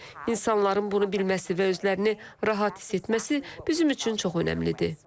İnsanların bunu bilməsi və özlərini rahat hiss etməsi bizim üçün çox önəmlidir.